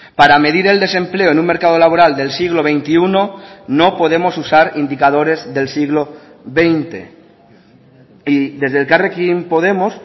para medir el desempleo en un mercado laboral del siglo veintiuno no podemos usar indicadores del siglo veinte y desde elkarrekin podemos